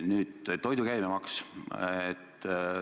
Nüüd, toidu käibemaks.